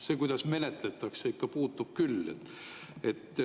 See, kuidas menetletakse, puutub ikka küll.